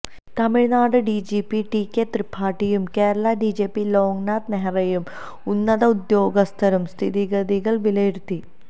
Tamil Nadu DGP T K ത്രിപാഠിയും Kerala DGP Loknath ബെഹ്റയും ഉന്നത ഉദ്യോഗസ്ഥരും സ്ഥിതിഗതികള് വിലയിരുത്തി